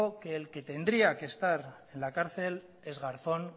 que el que tendría que estar en la cárcel es garzón